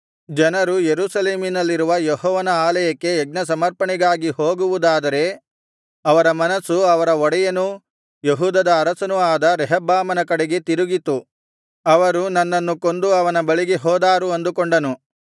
ಜನರು ಯೆರೂಸಲೇಮಿನಲ್ಲಿರುವ ಯೆಹೋವನ ಆಲಯಕ್ಕೆ ಯಜ್ಞಸಮರ್ಪಣೆಗಾಗಿ ಹೋಗುವುದಾದರೆ ಅವರ ಮನಸ್ಸು ಅವರ ಒಡೆಯನೂ ಯೆಹೂದದ ಅರಸನೂ ಆದ ರೆಹಬ್ಬಾಮನ ಕಡೆಗೆ ತಿರುಗಿತು ಅವರು ನನ್ನನ್ನು ಕೊಂದು ಅವನ ಬಳಿಗೆ ಹೋದಾರು ಅಂದುಕೊಂಡನು